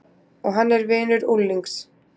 Og hann er vinur unglings.